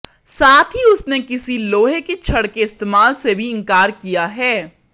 साथ ही उसने किसी लोहे के छड़ के इस्तेमाल से भी इंकार किया है